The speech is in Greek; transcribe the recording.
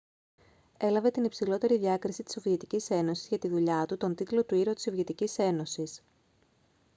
έλαβε την υψηλότερη διάκριση της σοβιετικής ένωσης για τη δουλειά του τον τίτλο του «ήρωα της σοβιετικής ένωσης»